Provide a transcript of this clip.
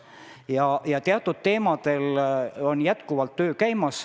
Nii et teatud teemadel töö käib.